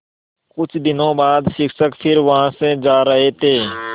कुछ दिनों बाद शिक्षक फिर वहाँ से जा रहे थे